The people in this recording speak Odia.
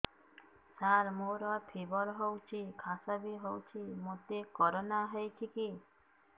ସାର ମୋର ଫିବର ହଉଚି ଖାସ ବି ହଉଚି ମୋତେ କରୋନା ହେଇଚି କି